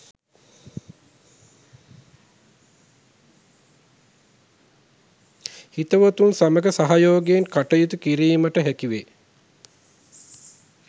හිතවතුන් සමග සහයෝගයෙන් කටයුතු කිරීමට හැකිවේ